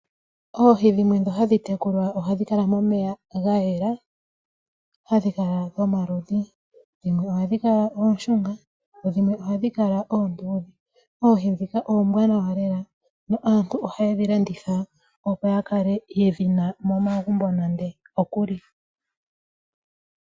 Oohi dhimwe dhi hadhi tekulwa ohadhi kala momeya gayela hadhi kala dhomaludhi dhimwe ohadhi kala ooshunga dhimwe ohadhi kala oonduudhe. Oohi dhika oombwanawa lela aantu ohayedhi landitha opo yakale yedhina momagumbo nandookuli.